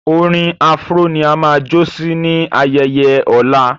Orin afro ní a má jo sí ní ayaye ọla